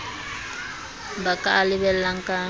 ba ka a lebellang ka